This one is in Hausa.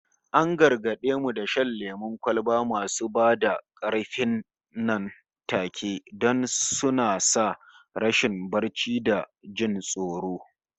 An gargade mu da shan lemon kwalba masu ba da karfi nan take, don suna sa rashin barci da jin tsoro